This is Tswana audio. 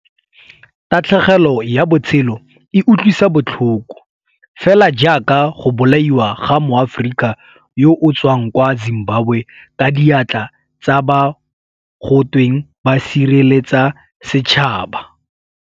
Tatlhegelo ya botshelo e utlwisa botlhoko, fela jaaka go bolaiwa ga Moaforika yo o tswang kwa Zimbabwe ka diatla tsa ba go tweng ba sireletsa setšhaba.